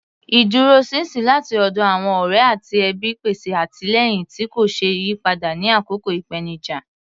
Ìdúróṣinṣin láti ọ̀dọ̀ àwọn ọ̀rẹ́ àti ẹbí mi pèsè àtìlẹ́yìn tí kò ṣeé yí padà ní àkókò ìpèníjà.